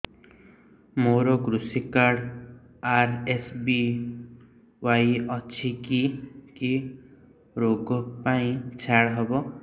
ମୋର କୃଷି card RSBY ଅଛି କି କି ଋଗ ପାଇଁ ଛାଡ଼ ହବ